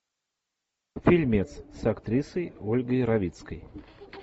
фильмец с актрисой ольгой равицкой